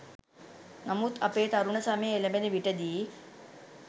නමුත් අපේ තරුණ සමය එළැඹෙන විටදී